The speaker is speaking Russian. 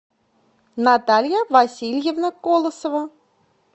наталья васильевна колосова